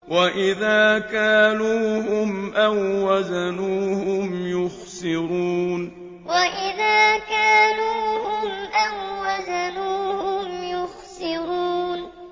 وَإِذَا كَالُوهُمْ أَو وَّزَنُوهُمْ يُخْسِرُونَ وَإِذَا كَالُوهُمْ أَو وَّزَنُوهُمْ يُخْسِرُونَ